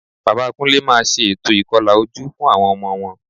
Bàbá Kúnlé máa ṣe ètò ìkọlà ojú fún àwọn ọmọ wọn